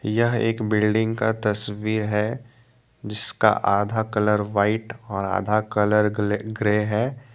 यह एक बिल्डिंग का तस्वीर है जिसका आधा कलर व्हाइट और आधा कलर ग्ले ग्रे है।